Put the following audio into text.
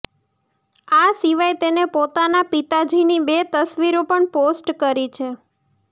આ સિવાય તેને પોતાના પિતાજીની બે તસવીરો પણ પોસ્ટ કરી છે